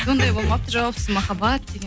ондай болмапты жауапсыз махаббат деген